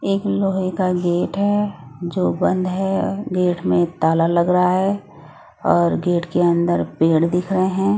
एक लोहे का गेट है जो बंद हैं गेट में ताला लग रहा है और गेट के अंदर पेड़ दिख रहें हैं।